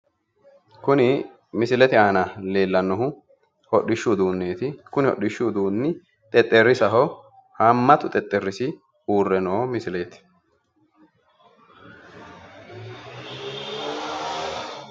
kuni misilete aana leellannohu hodhishshu uduunneeti kuni hodhishshu uduunni xexerrisaho haammatu xexerrisi uurre noo misileeti